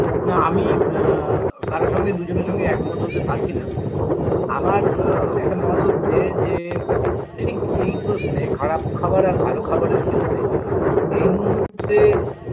না আমি আ কারোর সঙ্গে দুজনের সঙ্গে একমত হতে পারছিনা আমার আ একটা মত হচ্ছে যে ঠিক এই প্রশ্নে খারাপ খাবার আর ভালো খাবারের ক্ষেত্রে এই মূহুর্তে